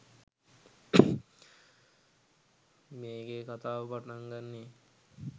මේකේ කථාව පටන්ගන්නේ